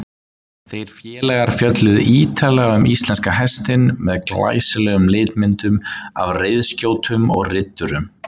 Þeir félagar fjölluðu ýtarlega um íslenska hestinn með glæsilegum litmyndum af reiðskjótum og riddurum.